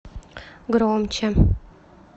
громче